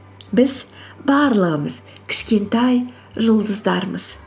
біз барлығымыз кішкентай жұлдыздармыз